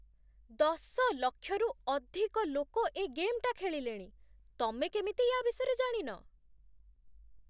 ଦଶ ଲକ୍ଷରୁ ଅଧିକ ଲୋକ ଏ ଗେମ୍‌ଟା ଖେଳିଲେଣି । ତମେ କେମିତି ୟା ବିଷୟରେ ଜାଣିନ?